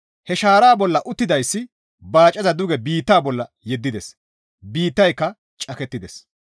He shaaraa bolla uttidayssi baacaza duge biitta bolla yeddides; biittayka cakettides.